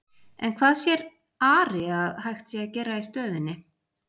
En hvað sér Ari að hægt sé að gera í stöðunni?